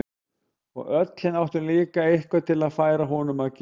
Og öll hin áttu líka eitthvað til að færa honum að gjöf.